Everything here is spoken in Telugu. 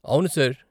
అవును సార్.